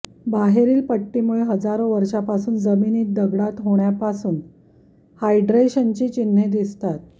बाहेरील पट्टीमुळे हजारो वर्षांपासून जमिनीत दगडात होण्यापासून हायड्रेशनची चिन्हे दिसतात